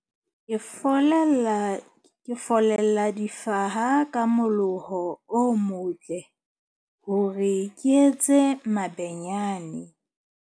Ke folella, ke follela difaha ka moloho o motle hore ke etse mabenyane.